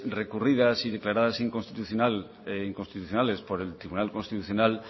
recurridas y declaradas inconstitucionales por el tribunal constitucional